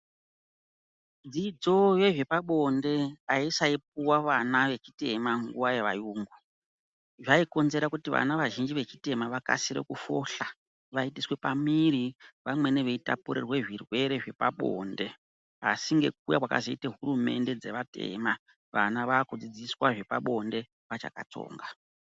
Dzidzo yezvepabonde haisaipuva vana vechitema nguva yevayungu zvaikonzera kuti vana vazhinji vechitema vakasire kufushwa vaitiswe pamwiri vamweni vaitapurirwe zvirwere zvepabonde. Asi ngekuuya kwakazoita hurumende dzevatema vana vakudzidziswa zvepabonde vachakatsonga.